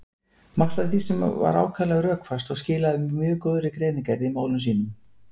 Margt af því var ákaflega rökfast og skilaði mjög góðri greinargerð í málum sínum.